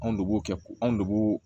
Anw de b'o kɛ ko anw de b'o